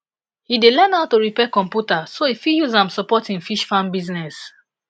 he dey learn how to repair computer so he fit use am support him fish farm business